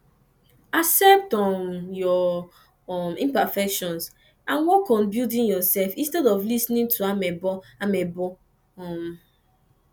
accept um your um imperfections and work on building yourself instead of lis ten ing to amebo amebo um